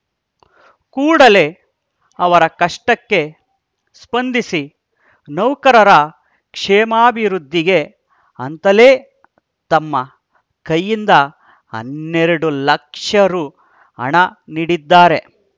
ಕೂಡಲೇ ಅವರ ಕಷ್ಟಕ್ಕೆ ಸ್ಪಂದಿಸಿ ನೌಕರರ ಕ್ಷೇಮಾಭಿವೃದ್ಧಿಗೆ ಅಂತಲೇ ತಮ್ಮ ಕೈಯಿಂದ ಹನ್ನೆರಡು ಲಕ್ಷ ರೂ ಹಣ ನೀಡಿದ್ದಾರೆ